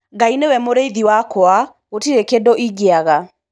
Ngai nĩwe mũrĩithi wakwa, gũtire kĩndũ ingiaga.